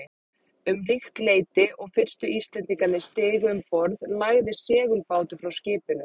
Um líkt leyti og fyrstu Íslendingarnir stigu um borð, lagði seglbátur frá skipinu.